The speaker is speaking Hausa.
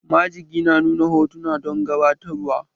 Majigi na nuna hotuna don gabatarwa